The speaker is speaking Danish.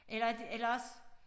Eller det eller også